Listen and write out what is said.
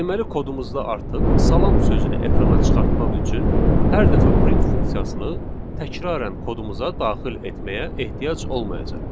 Deməli kodumuzda artıq salam sözünü ekrana çıxartmaq üçün hər dəfə print funksiyasını təkrarən kodumuza daxil etməyə ehtiyac olmayacaq.